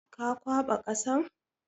Ka kwaɓa ƙasan?